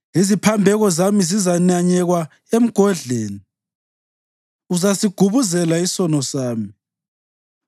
Iziphambeko zami zizananyekwa emgodleni; uzasigubuzela isono sami.